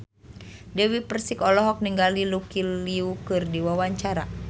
Dewi Persik olohok ningali Lucy Liu keur diwawancara